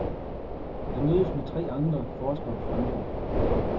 Jeg mødes med tre andre forskere fra nord.